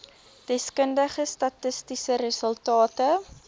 deskundige statistiese resultate